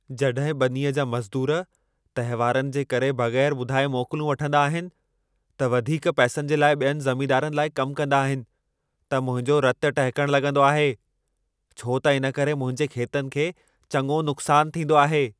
जॾहिं ॿनीअ जा मज़दूरु तहिवारनि जे करे बगै़रु ॿुधाए मोकलूं वठंदा आहिनि या वधीक पैसनि जे लाइ ॿियनि ज़मींदारनि लाइ कम कंदा आहिनि त मुंहिंजो रतु टहिकण लॻंदो आहे, छो त इन करे मुंहिंजे खेतनि खे चङो नुक़्सान थींदो आहे।